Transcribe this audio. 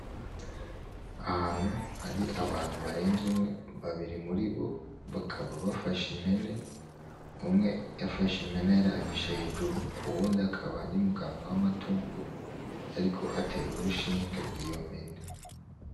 Ahantu hari abantu barenze umwe, babiri muri bo bakaba bafashe impene. Umwe afashe impene ayirabisha hejuru, uyundi akaba ari muganga w’amatungo ariko atera urushinge iyo mpene.